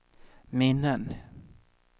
minnen